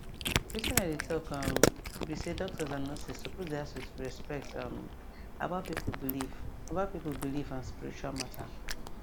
wetin i dey talk um be say doctors and nurses suppose dey ask with respect um about people belief about people belief and spiritual matter